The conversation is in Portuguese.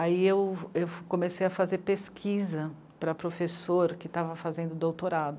Aí eu comecei a fazer pesquisa para professor que estava fazendo doutorado.